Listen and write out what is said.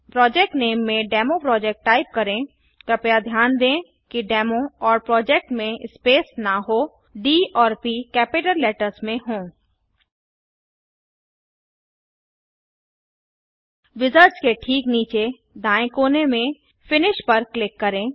project name में demo project type करें कृपया ध्यान दें कि डेमो और प्रोजेक्ट में स्पेस न हो डी और प कैपिटल लेटर्स में हों विजार्ड्स के ठीक नीचे दाएँ कोने में पर फिनिश पर क्लिक करें